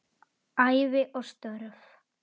Ævi og störf